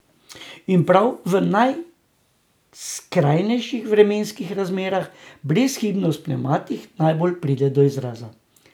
In prav v najskrajnejših vremenskih razmerah brezhibnost pnevmatik najbolj pride do izraza.